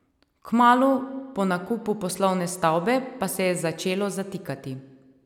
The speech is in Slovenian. Kmalu po nakupu poslovne stavbe pa se je začelo zatikati.